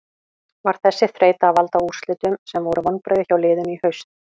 Var þessi þreyta að valda úrslitum sem voru vonbrigði hjá liðinu í haust?